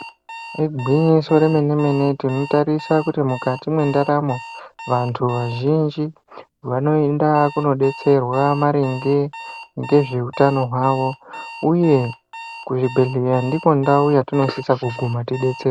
Igwinyiso remenemene tinotarisa kuti mukati mwendaramo vanthu vazhinji vanoenda kunodetserwa maringe ngezveutano hwavo uye kuzvibhedhleya ndiko ndau yatinosisa kuguma teidetserwa.